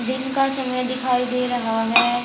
दिन का समय दिखाई दे रहा है।